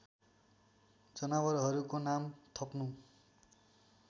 जनावरहरूको नाम थप्नु